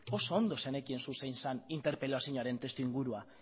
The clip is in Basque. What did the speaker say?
oso ondo zenekien zu zein zan interpelazioaren testuingurua